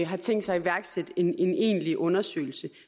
har tænkt sig at iværksætte en egentlig undersøgelse